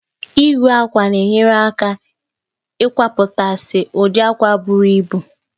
Igwe àkwá na-enyere aka eii kwapụtasị ụdị àkwá buru ibu